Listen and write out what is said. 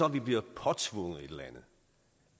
at vi bliver påtvunget et eller andet